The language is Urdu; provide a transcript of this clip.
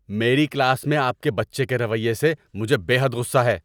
میرے کلاس میں آپ کے بچے کے رویے سے مجھے بے حد غصہ ہے!